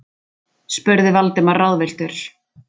spurði Valdimar ráðvilltur.